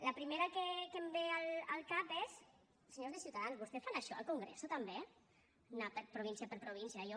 la primera que em ve al cap és senyors de ciuta dans vostè fan això al congreso també anar província per província allò